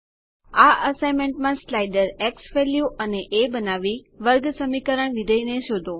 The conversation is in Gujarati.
આ અસાઇનમેન્ટમાં સ્લાઇડર ઝવેલ્યુ અને એ બનાવી વર્ગસમીકરણ વિધેય ને શોધો